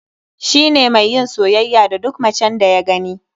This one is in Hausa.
Shi ne mai yin soyayya da duk macen da ya gani.